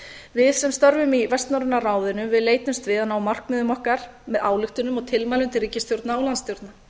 við sem störfum í vestnorræna ráðinu leitumst við að ná markmiðum okkar með ályktunum og tilmælum til ríkisstjórna og landsstjórna